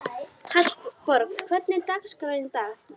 Hallborg, hvernig er dagskráin í dag?